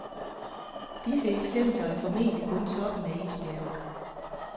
Disse eksempler er formentlig kun toppen af isbjerget.